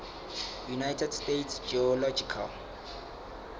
united states geological